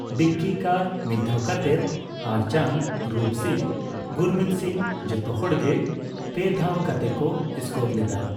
ᱰᱤᱠᱤ Carr ᱢᱤᱫ ᱫᱷᱟᱣ ᱠᱟᱛᱮᱫ ᱟᱨ ᱪᱟᱸᱫᱽ, ᱨᱩᱯ ᱥᱤᱝᱦᱚ, ᱜᱩᱨᱢᱤᱛ ᱥᱤᱝᱦᱚ, ᱡᱚᱛᱚ ᱦᱚᱲᱜᱮ ᱯᱮ ᱫᱷᱟᱣ ᱠᱟᱛᱮᱠᱚ ᱥᱠᱳᱨ ᱞᱮᱫᱟ ᱾